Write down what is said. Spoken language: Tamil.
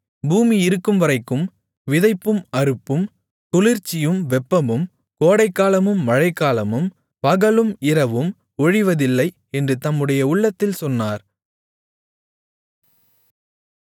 பூமி இருக்கும்வரைக்கும் விதைப்பும் அறுப்பும் குளிர்ச்சியும் வெப்பமும் கோடைக்காலமும் மழைக்காலமும் பகலும் இரவும் ஒழிவதில்லை என்று தம்முடைய உள்ளத்தில் சொன்னார்